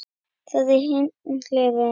Það er hin hliðin.